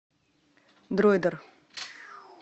дройдер